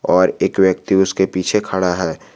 और एक व्यक्ति उसके पीछे खड़ा है।